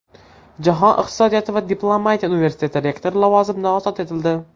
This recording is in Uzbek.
Jahon iqtisodiyoti va diplomatiya universiteti rektori lavozimidan ozod etildi.